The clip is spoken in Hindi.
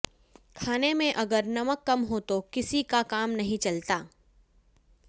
खाने में अगर नमक कम हो तो किसी का काम नहीं चलता